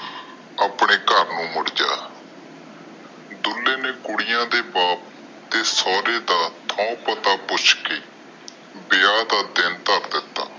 ਆਪਣੇ ਘਰ ਨੂੰ ਮੁੜ ਜਾ ਦੁੱਲੇ ਨੇ ਕੁੜੀਆਂ ਦੇ ਬਾਪ ਦਾ ਤੇ ਸੋਹਰੇ ਦਾ ਥਾਂ ਪਤਾ ਪੁੱਛ ਕੇ ਵਿਆਹ ਦਾ ਦਿਨ ਧਰ ਦਿਤਾ।